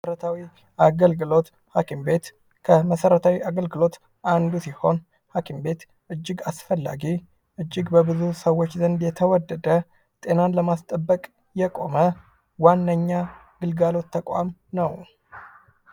መሰረታዊ አገልግሎት ። ሀኪም ቤት ከመሰረታዊ አገልግሎት አንዱ ሲሆን ሀኪም ቤት እጅግ አስፈላጊ እጅግ በብዙ ሰዎች ዘንድ የተወደደ ጤናን ለማስጠበቅ የቆመ ዋነኛ ግልጋሎት ተቋም ነው ።